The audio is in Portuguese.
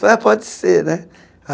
Falei, ah pode ser, né?